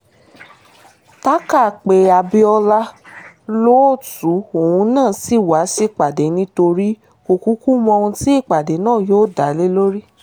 tàkà pé abiola lóòótọ́ òun náà ṣì wá sípàdé nítorí kò kúkú mọ ohun tí ìpàdé náà dá lé lórí